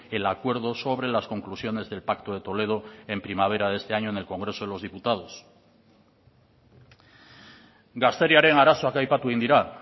el acuerdo sobre las conclusiones del pacto de toledo en primavera de este año en el congreso de los diputados gazteriaren arazoak aipatu egin dira